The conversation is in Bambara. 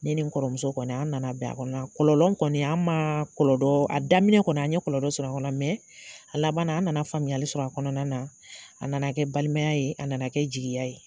Ne ni n kɔrɔmuso kɔni an nana bɛn kɔnɔ kɔlɔlɔ kɔni an ma kɔlɔdɔ a daminɛ kɔni an ɲe kɔlɔlɔ kɔnɔ a laban na, an nana faamuyali sɔrɔ a kɔnɔna na, a nana kɛ balimaya ye, a nana kɛ jigiya ye.